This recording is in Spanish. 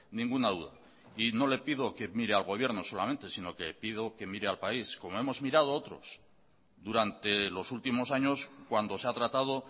ninguna duda y no le pido que mire al gobierno solamente sino que pido que mire al país como hemos mirado otros durante los últimos años cuando se ha tratado